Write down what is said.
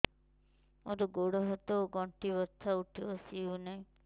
ମୋର ଗୋଡ଼ ହାତ ର ଗଣ୍ଠି ବଥା ଉଠି ବସି ହେଉନାହିଁ